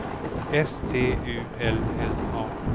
S T U L N A